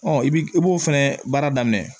i bi i b'o fɛnɛ baara daminɛ